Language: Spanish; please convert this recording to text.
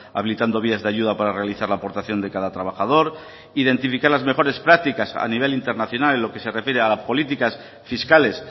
habilitando vías de ayuda para realizar la aportación de cada trabajador identificar las mejores prácticas a nivel internacional en lo que se refiere a las políticas fiscales